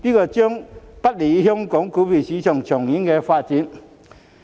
這將不利於香港股票市場的長遠發展。